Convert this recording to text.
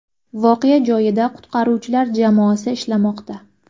Voqea joyida qutqaruvchilar jamoasi ishlamoqda.